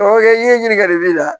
Ɔ i ɲɛ ye ɲininkali b'i la